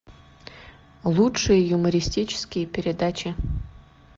лучшие юмористические передачи